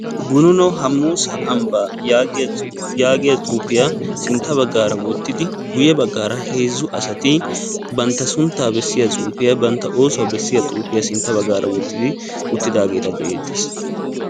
Gununo Hamuusa Ambbaa yaagiya xuufiya sintta baggaara wottidi guye baggaara heezzu asati banttaa suunttaa bessiya xuufiya, banttaa oossuwa bessiya xuufiya sintta baggaara wottidi uttidaageeta be'ettees.